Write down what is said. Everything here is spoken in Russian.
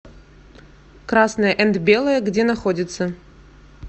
красное энд белое где находится